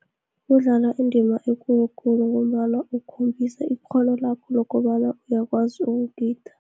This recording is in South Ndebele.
Kudlala indima ekulukhulu, ngombana kukhombisa ikghono lakho lokobana uyakwazi ukugida.